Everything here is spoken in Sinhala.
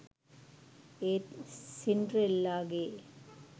ඒත් සින්ඩරෙල්ලාගේ